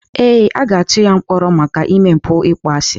Ee, a ga-atụ ya mkpọrọ maka ime mpụ ịkpọasị.